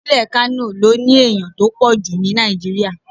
Ìpínlẹ̀ Kánò ló ní ènìyàn tó pọ̀ jù ni Nigeria.